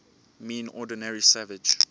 mean ordinary savage